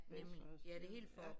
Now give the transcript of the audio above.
Venstrehåndsstyr ja